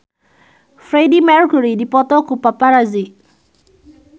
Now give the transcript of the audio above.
Freedie Mercury dipoto ku paparazi